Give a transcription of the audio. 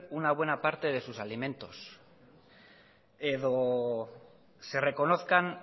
una buena parte de sus alimentos edo se reconozcan